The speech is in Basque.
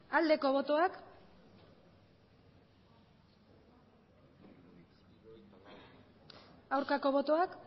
aldeko botoak aurkako botoak